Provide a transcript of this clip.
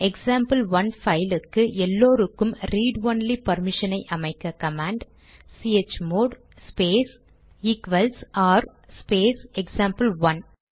example one பைலுக்கு எல்லாருக்கும் read only பர்மிஷனை அமைக்க கமாண்ட் சிஹெச்மோட் ஸ்பேஸ் ஆர் ஸ்பேஸ்எக்சாம்பிள்1